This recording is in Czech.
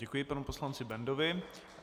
Děkuji panu poslanci Bendovi.